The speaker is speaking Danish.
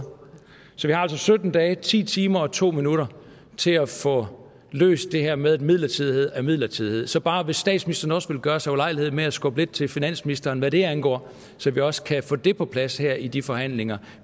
så vi har altså sytten dage ti timer og to minutter til at få løst det her med at midlertidighed er midlertidighed så bare vil gøre sig ulejlighed med at skubbe lidt til finansministeren hvad det angår så vi også kan få det på plads her i de forhandlinger